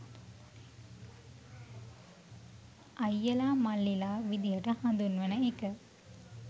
අයියලා මල්ලිලා විදිහට හඳුන්වන එක